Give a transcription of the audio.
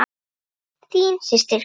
Þín systir Katla.